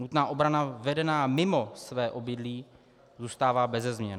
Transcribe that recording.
Nutná obrana vedená mimo své obydlí zůstává beze změny.